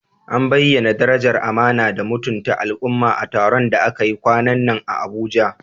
An bayyana darajar amana da mutunta al'umma a taron da aka yi kwanan nan a Abuja?